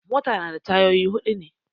Mota ta na da tayoyi huɗu ne